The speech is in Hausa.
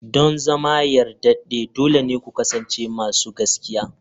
Don zama yardade dole ne ku kasance masu gaskiya.